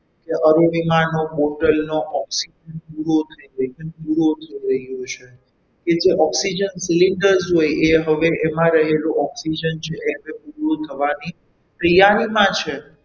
કે અરુણિમા નો bottle નો oxygen પૂરો થઈ ગયો છે પૂરો થઈ ગયો છે કે જે oxygen cylinder જોઈ એમાં રહેલું oxygen છે એ પૂરું થવાની તૈયારીમાં છે.